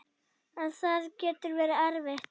En það getur verið erfitt.